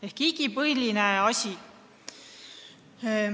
See on igipõline mure.